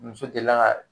Muso delila ka